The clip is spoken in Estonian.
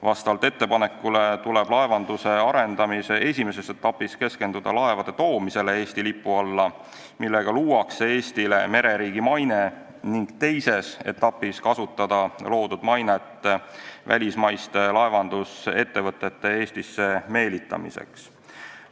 Vastavalt ettepanekule tuleb laevanduse arendamise esimeses etapis keskenduda laevade toomisele Eesti lipu alla, millega luuakse Eestile mereriigi maine, ning teises etapis kasutada loodud mainet välismaiste laevandusettevõtete Eestisse meelitamiseks.